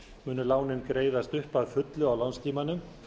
munu lánin greiðast upp að fullu á lánstímanum